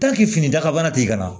fini daga bana tɛ yen ka na